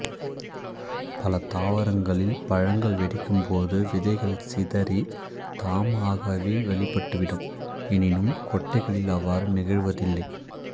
பல தாவரங்களில் பழங்கள் வெடிக்கும்போது விதைகள் சிதறி தாமாகவே வெளிப்பட்டுவிடும் எனினும் கொட்டைகளில் அவ்வாறு நிகழ்வதில்லை